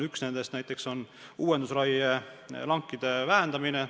Üks nendest on näiteks uuendusraie lankide vähendamine.